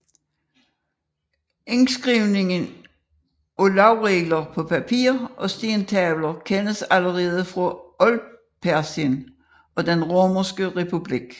Indskrivningen af lovregler på papir og stentavler kendes allerede fra Oldpersien og den Romerske republik